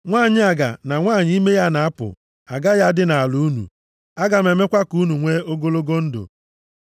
Nwanyị aga na nwanyị ime ya na-apụ agaghị adị nʼala unu. Aga m emekwa ka unu nwee ogologo ndụ.